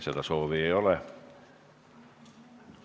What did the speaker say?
Seda soovi ei ole.